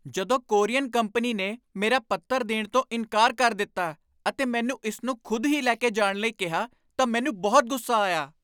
ਜਦੋਂ courier company ਨੇ ਮੇਰਾ ਪੱਤਰ ਦੇਣ ਤੋਂ ਇਨਕਾਰ ਕਰ ਦਿੱਤਾ ਅਤੇ ਮੈਨੂੰ ਇਸ ਨੂੰ ਖੁਦ ਹੀ ਲੈ ਕੇ ਜਾਣ ਲਈ ਕਿਹਾ ਤਾਂ ਮੈਨੂੰ ਬਹੁਤ ਗੁੱਸਾ ਆਇਆ।